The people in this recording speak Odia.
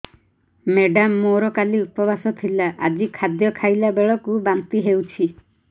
ମେଡ଼ାମ ମୋର କାଲି ଉପବାସ ଥିଲା ଆଜି ଖାଦ୍ୟ ଖାଇଲା ବେଳକୁ ବାନ୍ତି ହେଊଛି